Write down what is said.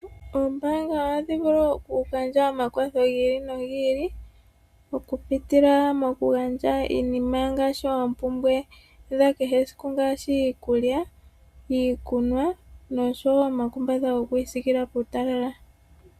Oombaanga ohadhi vulu okugandja omakwatho gi ili nogi ili okupitila mokugandha iinima ngaashi oompumbwe dhakege esiku ngaashi iikulya, iikunwa noshowo omakumbatha gokwiisiikila puutalala.